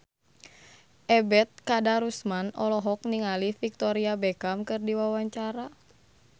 Ebet Kadarusman olohok ningali Victoria Beckham keur diwawancara